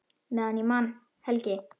Meðan ég man, Helgi.